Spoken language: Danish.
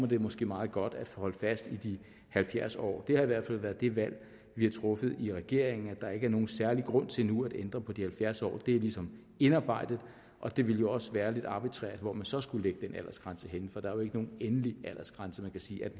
det måske meget godt at holde fast i de halvfjerds år det har i hvert fald været det valg vi har truffet i regeringen altså at der ikke er nogen særlig grund til nu at ændre på de halvfjerds år det er ligesom indarbejdet og det ville jo også være lidt arbitrært hvor man så skulle lægge den aldersgrænse for der er jo ikke nogen endelig aldersgrænse man kan sige